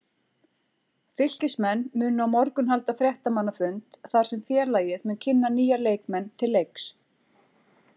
Fylkismenn munu á morgun halda fréttamannafund þar sem félagið mun kynna nýja leikmenn til leiks.